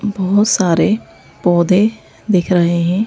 बहुत सारे पौधे दिख रहे हैं।